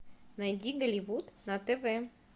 найди голливуд на тв